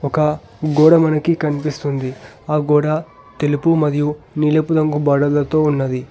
ఒక గోడ మనకి కనిపిస్తుంది. ఆ గోడ తెలుపు మరియు నీలపు రంగు బార్డర్ లతో ఉన్నది.